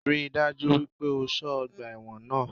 Rí i dájú wípé o só ọgbà ẹ́wọ̀n náà